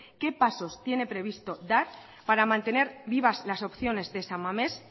qué pasos tiene previsto dar para mantener vivas las opciones de san mames